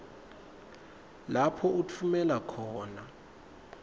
lapho utfumela khona